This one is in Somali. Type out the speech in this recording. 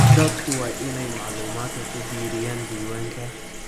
Dadku waa inay macluumaadka ku biiriyaan diiwaanka.